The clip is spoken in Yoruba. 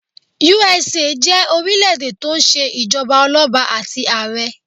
USA jé orílẹ̀ èdè tó n se ìjọba ọlọ́ba àti àrẹ